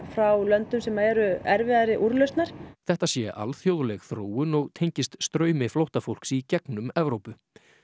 frá löndum sem eru erfiðari úrlausnar þetta sé alþjóðleg þróun og tengist straumi flóttafólks í gegnum Evrópu